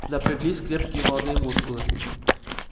напряглись крепкие молодые мускулы